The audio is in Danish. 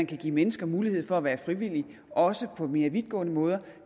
kan give mennesker mulighed for at være frivillige også på mere vidtgående måder